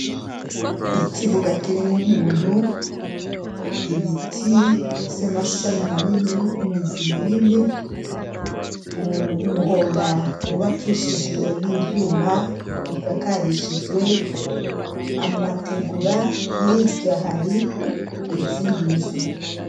Ikibuga kirimwo umuntu, ibiti vy'amashami manini, imizi minini, umuhora wubakishijwe n'ivyuma usakarishijwe amategura, hirya hari izindi nzu.